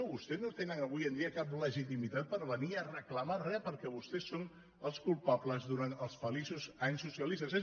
vostès no tenen avui en dia cap legitimitat per venir a reclamar re perquè vostès són els culpables durant els feliços anys socia·listes